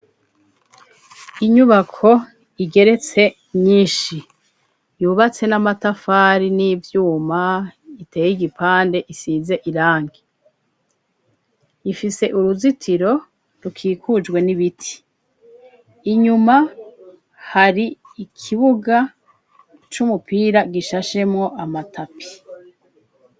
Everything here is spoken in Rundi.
Inyubako igeretse nyinshi yubatse n'amatafari n'ivyuma iteye igipande isize iranke ifise uruzitiro rukikujwe n'ibiti inyuma hari ikibugaco co umupira gishashemwo amatapi.